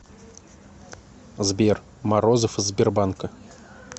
сбер морозов из сбербанка